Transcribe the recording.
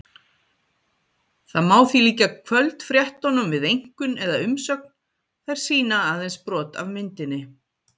Það má því líkja kvöldfréttunum við einkunn eða umsögn- þær sýna aðeins brot af myndinni.